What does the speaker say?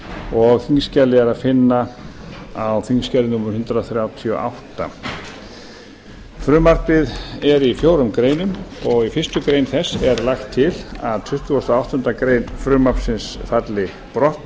og þingskjalið er að finna á þingskjali númer hundrað þrjátíu og átta frumvarpið er í fjórum greinum og í fyrstu greinar þess er lagt til að tuttugasta og áttundu grein stjórnarskrárinnar falli brott